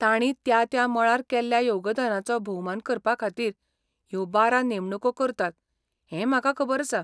तांणी त्या त्या मळार केल्ल्या योगदानाचो भोवमान करपा खातीर ह्यो बारा नेमणुको करतात हें म्हाका खबर आसा.